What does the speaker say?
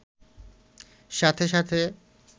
সাথে সাথে